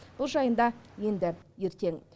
бұл жайында енді ертең